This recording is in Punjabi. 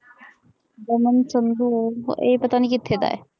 ਕਮਲ ਸੰਧੂ ਇਹ ਪਤਾ ਨਹੀਂ ਕਿੱਥੇ ਦਾ ਹੈ